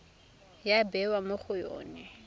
ya bewa mo go yone